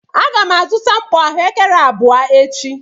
A ga m azụta mkpọ ahụekere abụọ echi.